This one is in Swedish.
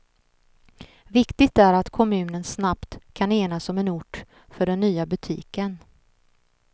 Viktigt är att kommunen snabbt kan enas om en ort för den nya butiken.